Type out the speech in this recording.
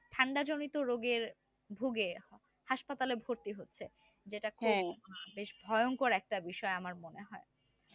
ঠান্ডা জনিত রোগের ভুগে হাসপাতালে ভর্তি হচ্ছে যেটা বেশ ভয়ঙ্কর একটা বিষয় আমার মনে হয়